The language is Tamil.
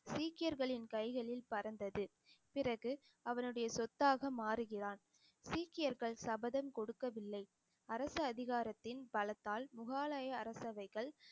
சீக்கியர்களின் கைகளில் பறந்தது பிறகு அவனுடைய சொத்தாக மாறுகிறான் சீக்கியர்கள் சபதம் கொடுக்கவில்லை அரசு அதிகாரத்தின் பலத்தால் முகலாய அரசவைகள்